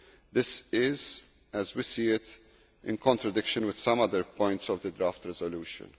This is, as we see it, in contradiction with some other points of the draft resolution.